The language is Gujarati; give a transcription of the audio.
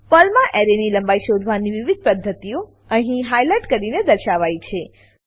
પર્લમાં એરેની લંબાઈ શોધવાની વિવિધ પદ્ધતિઓ અહીં હાઈલાઈટ કરીને દર્શાવાયી છે